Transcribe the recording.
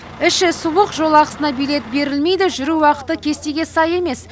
іші суық жол ақысына билет берілмейді жүру уақыты кестеге сай емес